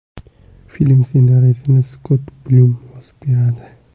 Film ssenariysini Skott Blum yozib beradi.